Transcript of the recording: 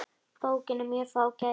Bókin er mjög fágæt.